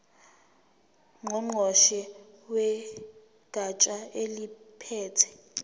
ngqongqoshe wegatsha eliphethe